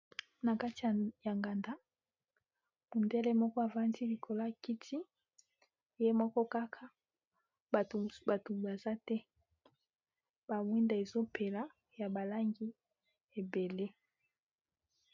Na kati ya nganda mondele moko avandi likolo kiti ye moko kaka bato baza te ba mwinda ezopela ya balangi ebele.